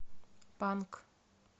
панк